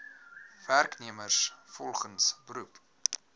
werknemers volgens beroep